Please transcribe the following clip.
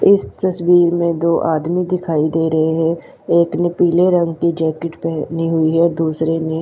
इस तस्वीर में दो आदमी दिखाई दे रहे हैं एक ने पीले रंग की जैकेट पैहनी हुई है दूसरे ने--